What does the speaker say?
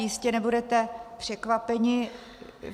Jistě nebudete překvapeni.